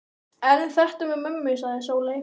En þetta með mömmu, sagði Sóley.